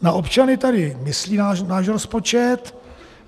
Na občany tady myslí náš rozpočet.